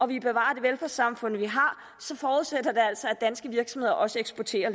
vil bevare det velfærdssamfund vi har så forudsætter det altså at danske virksomheder også eksporterer